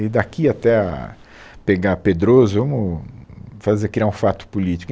e daqui até a pegar a Pedroso, vamos fazer criar um fato político.